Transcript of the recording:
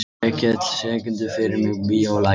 Vékell, syngdu fyrir mig „Bíólagið“.